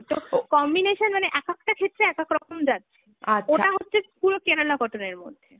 তো combination মানে এক একটা ক্ষেত্রে এক একরকম যাচ্ছে, ওটা হচ্ছে পুরো Kerala cotton এর মধ্যে